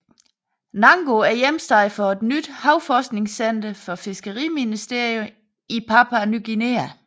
Nango er hjemsted for et nyt havforskningscenter for fiskeriministeriet i Papua Ny Guinea